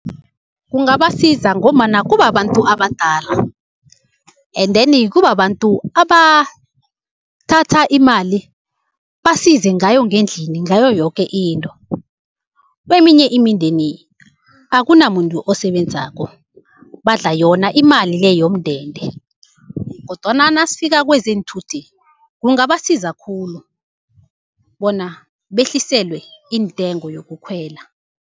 Kungabasiza ngombana kubabantu abadala endeni kubabantu abathatha imali basize ngayo ngendlini ngayo yoke into. Kweminye imindeni akunamuntu osebenzako, badla yona imali le yomndende, kodwana nasifika kwezeenthuthi kungabasiza khulu bona behliselwe intengo yokukhwela.